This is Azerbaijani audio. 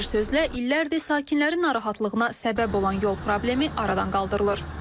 Bir sözlə illərdir sakinlərin narahatlığına səbəb olan yol problemi aradan qaldırılır.